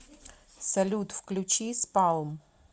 салют включи спалм